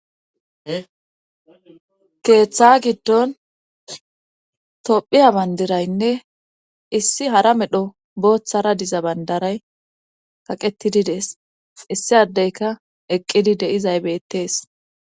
keeththa giddon tophiya bandiraynne issi hara medho booththara diza bandaray kaqettidi dees issi addeyka eqqidi deizay beettees